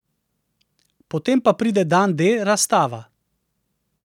Potem pa pride dan D razstava.